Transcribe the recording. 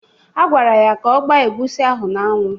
A gwara ya ka ọ gba egusi ahụ n'anwụ.